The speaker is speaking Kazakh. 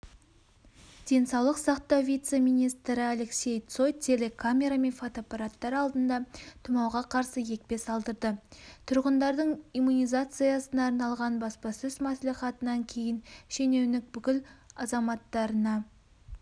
денсаулық сақтау вице-министріалексей цой телекамера мен фотоаппараттар алдында тұмауға қарсы екпе салдырды тұрғындардың иммунизациясына арналған баспасөз мәслихатынан кейін шенеунік бүкіл азаматтарына